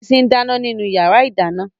Bísí n dáná nínú yàrá-ìdáná